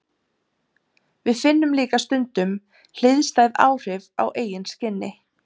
Við finnum líka stundum hliðstæð áhrif á eigin skinni.